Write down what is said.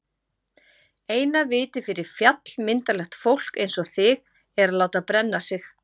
Eina vitið fyrir fjallmyndarlegt fólk einsog þig er að láta brenna sig.